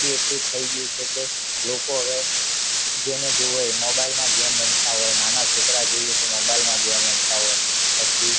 બી એટલું થઇ ગઉ છે કે લોકો જેને જોવો એ mobile માં game રમતા હોય નાના છોકરા જોવો તો એ પણ mobile માં game રમતા હોય પછી